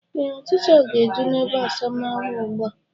Ee, ọchịcha ga-eju n'ebeasamaahụ ugbu a